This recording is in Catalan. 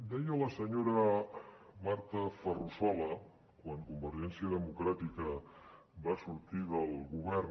deia la senyora marta ferrusola quan convergència democràtica va sortir del govern